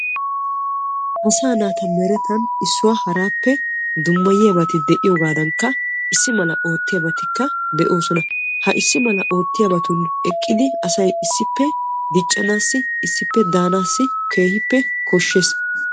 Asaa naata meran issuwaa issuwappe dummayiyaabay de'iyoogadanikka issi mala oottiyaabatikka de'oosona. issi mala oottiyabatun eqqidi asay issippe danaasi keehippe koshshees.